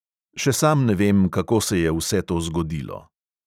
Še sam ne vem, kako se je vse to zgodilo.